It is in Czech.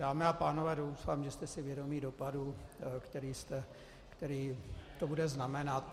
Dámy a pánové, doufám, že jste si vědomi dopadu, který to bude znamenat.